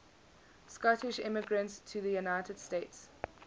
scottish immigrants to the united states